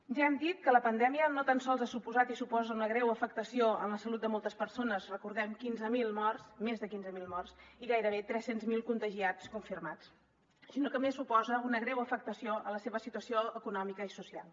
ja hem dit que la pandèmia no tan sols ha suposat i suposa una greu afectació en la salut de moltes persones recordem quinze mil morts més de quinze mil morts i gairebé tres cents miler contagiats confirmats sinó que a més suposa una greu afectació a la seva situació econòmica i social